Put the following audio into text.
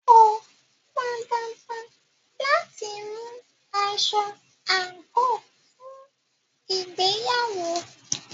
Kò pọn dandan láti mú aṣọ àńkò fún ìgbéyàwó